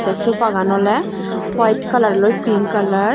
te sofa gan oley white kalar loi pink kalar.